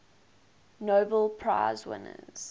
nobel prize winners